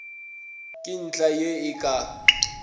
ke ntlha ye e ka